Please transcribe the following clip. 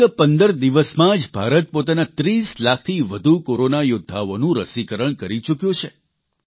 ફકત 15 દિવસમાં જ ભારત પોતાના 30 લાખથી વધુ કોરોના યોદ્ધાઓનું રસીકરણ કરી ચૂક્યો છે